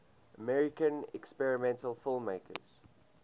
american experimental filmmakers